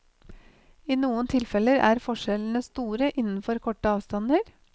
I noen tilfeller er forskjellene store innenfor korte avstander.